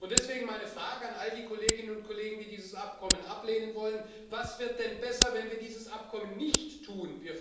Deswegen meine Frage an all die Kolleginnen und Kollegen, die dieses Abkommen ablehnen wollen Was wird denn besser, wenn wir dieses Abkommen nicht tun?